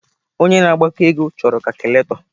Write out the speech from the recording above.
Onye na-agbakọ ego chọrọ kacụlatọ.